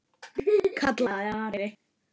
kallaði Ari.